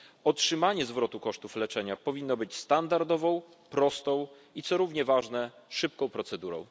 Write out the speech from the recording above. Otrzymanie zwrotu kosztów leczenia powinno być standardową, prostą i co równie ważne szybką procedurą.